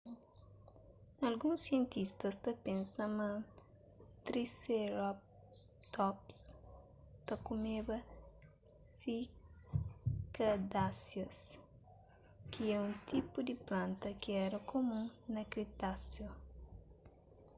alguns sientistas ta pensa ma triceratops ta kumeba sikadáseas ki é un tipu di planta ki éra kumun na kretáseu